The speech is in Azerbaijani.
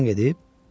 Çoxdan gedib?